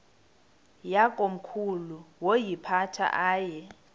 yakomkhulu woyiphatha aye